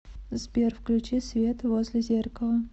сбер включи свет возле зеркала